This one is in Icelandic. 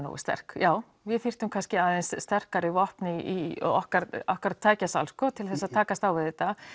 nógu sterk já við þyrftum kannski aðeins sterkari vopn í okkar okkar tækjasal sko til þess að takast á við þetta